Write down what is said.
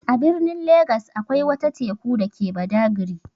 A birnin Legas akwai wata Teku dake Badagri.